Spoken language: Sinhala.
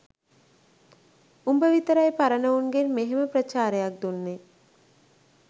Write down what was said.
උඹ විතරයි පරණ උන්ගෙන් මෙහෙම ප්‍රචාරයක් දුන්නේ